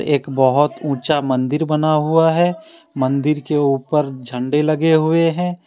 एक बहुत ऊंचा मंदिर बना हुआ है मंदिर के ऊपर झंडा लगे हुए हैं।